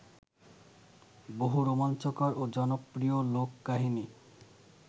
বহু রোমাঞ্চকর ও জনপ্রিয় লোককাহিনি